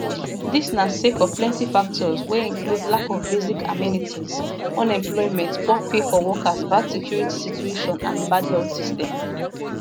dis na sake of plenti factors wey include lack of basic amenities unemployment poor pay for workers bad security situation and bad health system